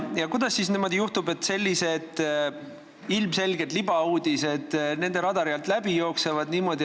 Kuidas siis niimoodi juhtub, et sellised ilmselged libauudised nende radari alt läbi jooksevad?